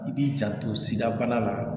I b'i janto sidabana la